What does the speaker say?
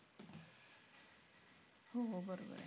हो बरोबर आहे.